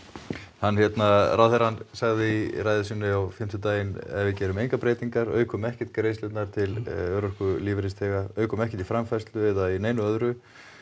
hann hérna ráðherrann sagði í ræðu sinni á fimmtudaginn ef við gerum engar breytingar aukum ekkert greiðslurnar til örorkulífeyrisþega aukum ekki framfærslu eða neinu öðru